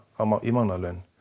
í mánaðarlaun